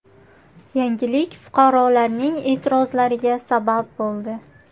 Yangilik fuqarolarning e’tirozlariga sabab bo‘ldi.